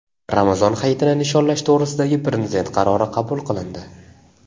Ramazon Hayitini nishonlash to‘g‘risidagi Prezident qarori qabul qilindi.